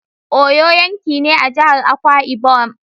Uyo yanki ne a jihar Akwa Ibom.